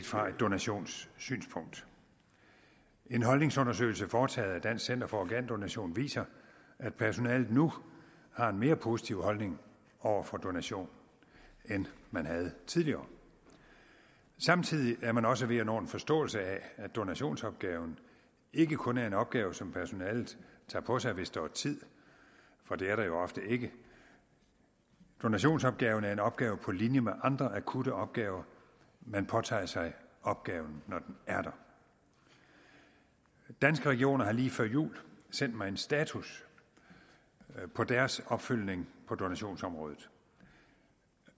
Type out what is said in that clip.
fra et donationssynspunkt en holdningsundersøgelse foretaget af dansk center for organdonation viser at personalet nu har en mere positiv holdning over for donation end man havde tidligere samtidig er man også ved at nå til en forståelse af at donationsopgaven ikke kun er en opgave som personalet tager på sig hvis der er tid for det er der jo ofte ikke donationsopgaven er en opgave på linje med andre akutte opgaver man påtager sig opgaven når den er der danske regioner har lige før jul sendt mig en status på deres opfølgning på donationsområdet